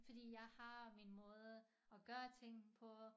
Fordi jeg har min måde at gøre ting på